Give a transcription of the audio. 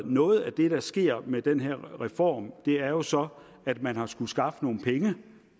noget af det der sker med den her reform er jo så at man har skullet skaffe nogle penge